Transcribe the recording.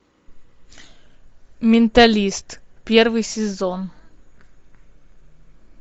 менталист первый сезон